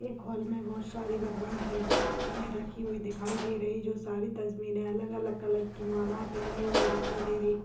एक हॉल में बोहत सारी भगवान की गुम्तिया रखी हुई दिखाई दे रही जो सारी तस्वीरें अलग-अलग कलर की माला पहने हुए दिखाई दे रही--